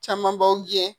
Camanbaw gɛn